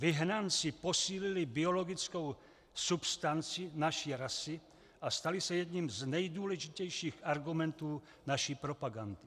Vyhnanci posílili biologickou substanci naší rasy a stali se jedním z nejdůležitějších argumentů naší propagandy.